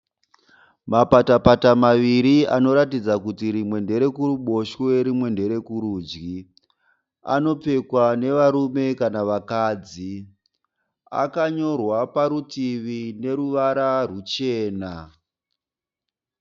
Mapatapata maviri anoratidza kuti rimwe nderekuruboshwe rimwe nderekurudyi. Anopfekwa nevarume kana vakadzi. Akanyorwa parutivi neruvara ruchena.